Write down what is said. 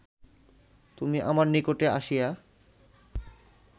তুমি আমার নিকটে আসিয়া